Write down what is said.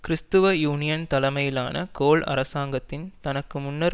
கிறிஸ்துவ யூனியன் தலைமையிலான கோல் அரசாங்கத்தின் தனக்கு முன்னர்